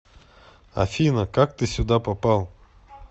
афина как ты сюда попал